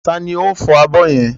Ta ni ó ń fọ abọ́ yẹn?